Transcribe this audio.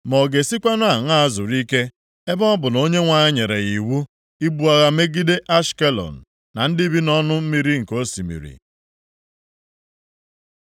Ma ọ ga-esikwanụ aṅaa zuru ike, ebe ọ bụ Onyenwe anyị nyere ya iwu ibu agha megide Ashkelọn, na ndị bi nʼọnụ mmiri oke osimiri?”